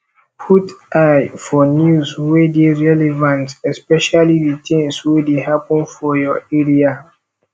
put eye for news wey dey relevant especially di things wey dey happen for your area